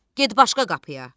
Get başqa qapıya.